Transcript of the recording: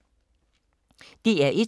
DR1